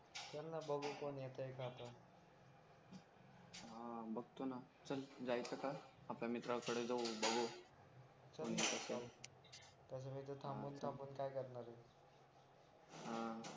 चल ना बघू कोण येताय का त हा बघतो ना चल जायचं तर आपल्या मित्राकडे जाऊ बघू तसं इथं थांबून थांबून काय करणारे हा